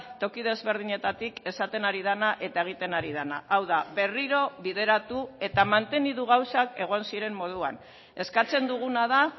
toki desberdinetatik esaten ari dena eta egiten ari dena hau da berriro bideratu eta mantendu gauzak egon ziren moduan eskatzen duguna da